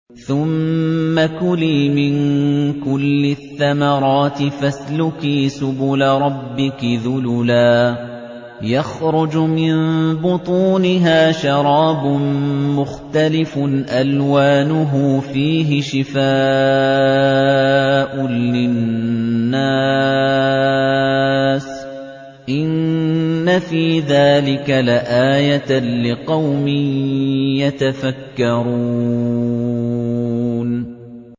ثُمَّ كُلِي مِن كُلِّ الثَّمَرَاتِ فَاسْلُكِي سُبُلَ رَبِّكِ ذُلُلًا ۚ يَخْرُجُ مِن بُطُونِهَا شَرَابٌ مُّخْتَلِفٌ أَلْوَانُهُ فِيهِ شِفَاءٌ لِّلنَّاسِ ۗ إِنَّ فِي ذَٰلِكَ لَآيَةً لِّقَوْمٍ يَتَفَكَّرُونَ